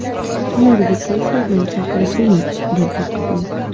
Ularga tez yordam chaqirib bering, deb baqirdim.